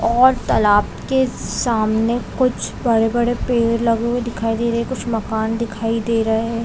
और तालाब के सामने कुछ बड़े बड़े पेड़ लगे हुए दिखाई दे रहे है कुछ मकान दिखाई दे रहे है।